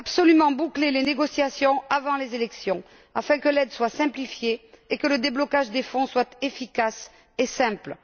Il faut absolument boucler les négociations avant les élections, afin que l'aide soit simplifiée et que le déblocage des crédits soit efficace et simple.